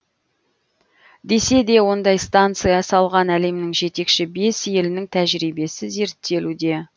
десе де ондай станция салған әлемнің жетекші бес елінің тәжірибесі зерттелуде